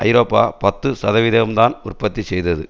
ஐரோப்பா பத்து சதவிகிதம் தான் உற்பத்தி செய்தது